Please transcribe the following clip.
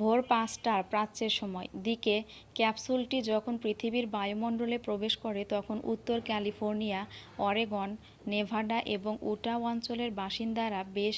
ভোর ৫টার প্রাচ্যের সময় দিকে ক্যাপসুলটি যখন পৃথিবীর বায়ুমণ্ডলে প্রবেশ করে তখন উত্তর ক্যালিফোর্নিয়া অরেগন নেভাডা এবং উটাহ অঞ্চলের বাসিন্দারা বেশ